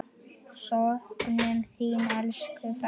Söknum þín, elsku frænka.